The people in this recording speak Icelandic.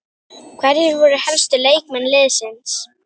Hverjir voru helstu leikmenn liðsins?